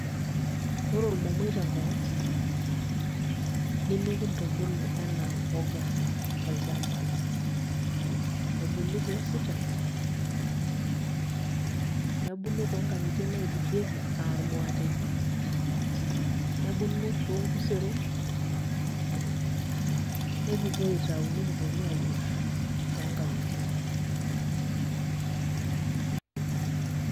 Ore ormomoi tenkop ang' nemekintubulu enaa mbuga tolchamba ebuku toositan nebulu toonkang'itie naidurrieki aa irmuateni, nebulu toonkuseron nekipuo aitayu nekiponu aayierr too nkang'itie.